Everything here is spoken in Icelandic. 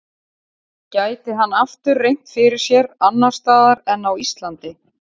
Gæti hann aftur reynt fyrir sér annars staðar en á Íslandi?